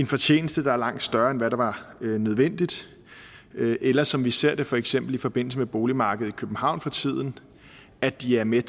fortjeneste der er langt større end hvad der var nødvendigt eller som vi ser det for eksempel i forbindelse med boligmarkedet i københavn for tiden at de er med